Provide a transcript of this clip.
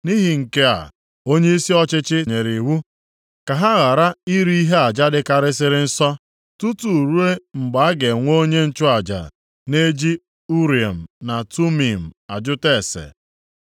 Nʼihi nke a, onyeisi ọchịchị nyere iwu ka ha ghara iri ihe aja dịkarịsịrị nsọ, tutu ruo mgbe a ga-enwe onye nchụaja na-eji Urim na Tumim ajụta ase.